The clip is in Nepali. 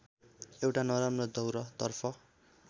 एउट नराम्रो दौरतर्फ